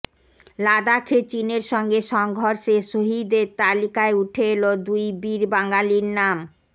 লাদাখে চিনের সঙ্গে সংঘর্ষে শহিদের তালিকায় উঠে এল দুই বীর বাঙালির নাম